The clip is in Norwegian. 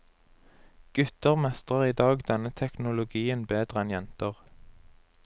Gutter mestrer i dag denne teknologien bedre enn jenter.